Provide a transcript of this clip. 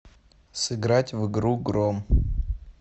сыграть в игру гром